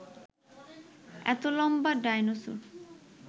এত লম্বা ডায়নোসর